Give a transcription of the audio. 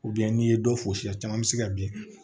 n'i ye dɔ fosi ye caman bɛ se ka bin